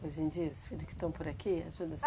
Hoje em dia, os filho que estão por aqui, ajudam a